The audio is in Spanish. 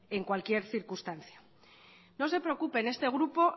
en cualquier circunstancia no se preocupe en este grupo